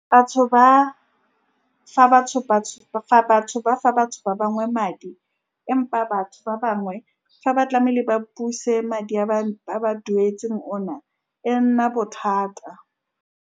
Batho ba fa batho fa batho ba fa batho ba bangwe madi, empa batho ba bangwe fa ba tlamehile ba a buse madi a ba a ba duetseng ona, e nna bothata.